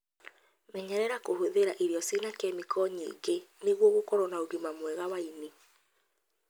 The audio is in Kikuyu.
Menyerera kũhũthĩra irio ciina kĩmĩko nyingĩ nĩguo ũkorwo na ũgima mwega wa ini.